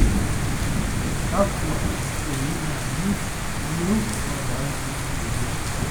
kakwa jikoi naaji iyieu loota orangi oyia